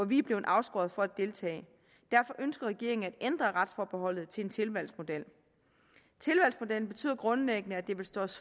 vi er blevet afskåret fra at deltage i derfor ønsker regeringen at ændre retsforbeholdet til en tilvalgsmodel tilvalgsmodellen betyder grundlæggende at det vil stå